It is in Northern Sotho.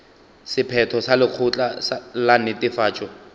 sephetho sa lekgotla la netefatšo